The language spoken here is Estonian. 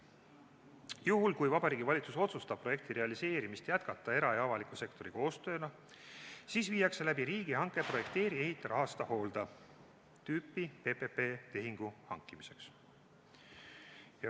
Juhul kui Vabariigi Valitsus otsustab projekti realiseerimist jätkata era- ja avaliku sektori koostööna, korraldatakse riigihange projekteeri-ehita-rahasta-hoolda-tüüpi PPP-tehingu hankimiseks.